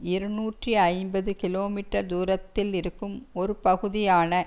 இருநூற்றி ஐம்பது கிலோமீட்டர் தூரத்தில் இருக்கும் ஒரு பகுதியான